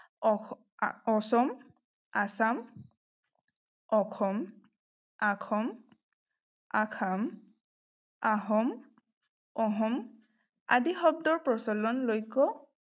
আ অচম, assam অখম, আখম, আসাম, আহোম, অহোম, আদি শব্দৰ প্ৰচলনলৈকো